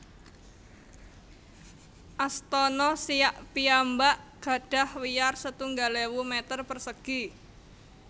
Astana Siak piyambak gadhah wiyar setunggal ewu meter persegi